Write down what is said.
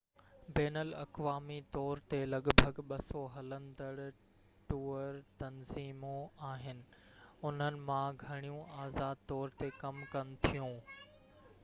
بين الاقوامي طور تي لڳ ڀڳ 200 هلندڙ ٽوئر تنظيمون آهن انهن مان گهڻيون آزاد طور تي ڪم ڪن ٿيون